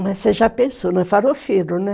Mas você já pensou, é farofeiro, né?